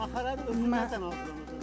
Maxara özü nədən hazırlandı?